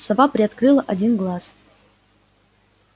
сова приоткрыла один глаз